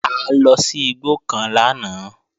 A lọ sí igbó kan lánàá